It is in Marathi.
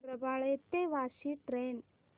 रबाळे ते वाशी ट्रेन